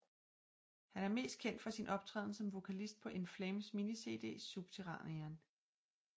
Han er mest kendt for sin optræden som vokalist på In Flames mini cd Subterranean